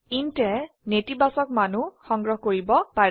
intয়ে নেতিবাচক মানও সংগ্ৰহ কৰিব পাৰে